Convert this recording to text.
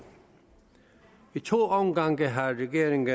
i to omgange har regeringen